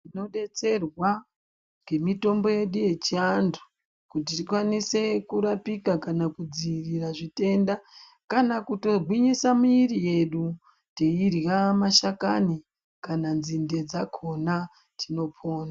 Tinobetserwa ngemitombo yedu yechiantu kuti tikwanise kurapika kana kudzivirira zvitenda kana kutogwinyisa miiri yedu teidya mashakani kana nzinde dzakona tinopona .